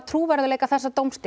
trúverðugleika þessa dómsstigs